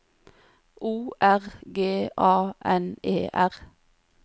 O R G A N E R